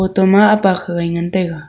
toma apak hagai ngantaiga.